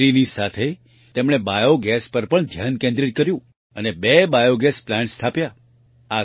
ડેરીની સાથે તેમણે બાયોગેસ પર પણ ધ્યાન કેન્દ્રિત કર્યું અને બે બાયોગેસ પ્લાન્ટ સ્થાપ્યા